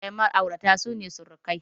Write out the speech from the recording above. Iyayen Ma'aurata sune surukai.